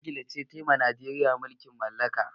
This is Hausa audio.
Ingila ce ta yi wa Najeriya mulkin mallaka.